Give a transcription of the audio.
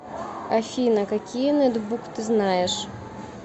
афина какие нетбук ты знаешь